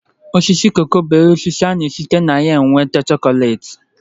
Osisi koko bụ osisi ana-esite na ya nwete chokolate